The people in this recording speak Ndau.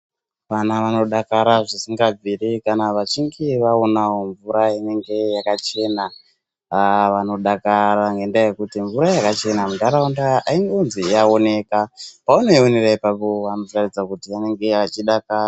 Vana vanodakara zvisingabviri kana vachinge vaonawo mvura inenge yakachena. Aa vanodakara ngendaa yekuti mvura yakachena muntaraunda aingonzi yaoneka. Paunoionera ipapo vanotaridza kuti vanenge vachidakara.